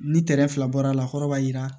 Ni kɛrɛ fila bɔra a la kɔrɔ b'a jira